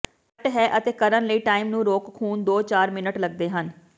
ਸੱਟ ਹੈ ਅਤੇ ਕਰਨ ਲਈ ਟਾਈਮ ਨੂੰ ਰੋਕ ਖ਼ੂਨ ਦੋ ਚਾਰ ਮਿੰਟ ਲੱਗਦੇ ਹਨ